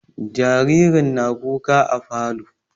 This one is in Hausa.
Jaririn na kuka a falo